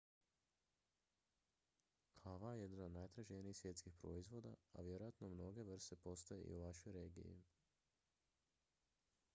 kava je jedan od najtraženijih svjetskih proizvoda a vjerojatno mnoge vrste postoje i u vašoj regiji